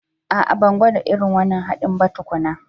A'a, ban gwada irin wannan haɗin ba tukuna